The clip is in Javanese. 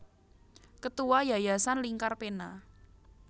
Ketua Yayasan Lingkar Pena